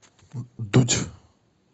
дудь